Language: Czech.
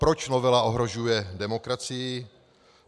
Proč novela ohrožuje demokracii?